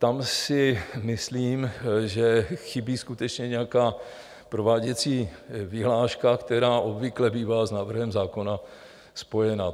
Tam si myslím, že chybí skutečně nějaká prováděcí vyhláška, která obvykle bývá s návrhem zákona spojena.